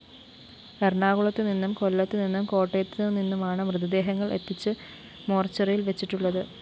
എറണാകുളത്തുനിന്നും കൊല്ലത്തുനിന്നും കോട്ടയത്തുനിന്നുമാണ് മൃതദേഹങ്ങള്‍ എത്തിച്ച് മോര്‍ച്ചറിയില്‍ വച്ചിട്ടുള്ളത്